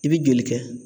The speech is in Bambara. I bɛ joli kɛ